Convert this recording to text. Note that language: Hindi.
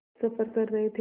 सफ़र कर रहे थे